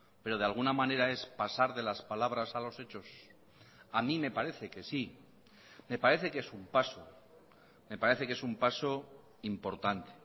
pero de alguna manera es pasar de las palabras a los hechos a mí me parece que sí me parece que es un paso me parece que es un paso importante